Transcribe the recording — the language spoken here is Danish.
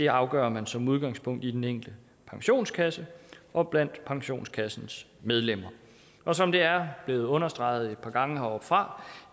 afgør man som udgangspunkt i den enkelte pensionskasse og blandt pensionskassens medlemmer og som det er blevet understreget et par gange heroppefra